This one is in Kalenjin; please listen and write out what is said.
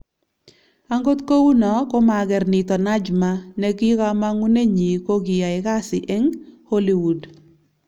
Angot kouno ko mager nito Najma ne kamang'unenyi ko kiyai kasi eng Holiwood